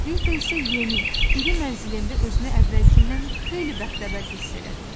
Rita isə yeni, iri mənzilində özünü əvvəlkindən xeyli bəxtəvər hiss elədi.